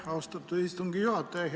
Aitäh, austatud istungi juhataja!